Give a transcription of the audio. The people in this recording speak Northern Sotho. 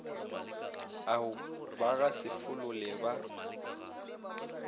ao ba gasefolo le ba